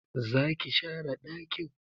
Zaki share dakin?